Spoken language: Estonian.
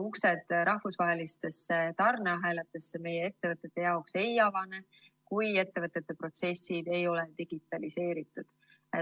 Uksed rahvusvahelistesse tarneahelatesse meie ettevõtete jaoks ei avane, kui ettevõtete protsessid ei ole digitaliseeritud.